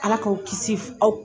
Ala k'aw kisi aw